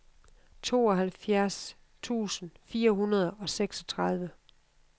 tooghalvfjerds tusind fire hundrede og seksogtredive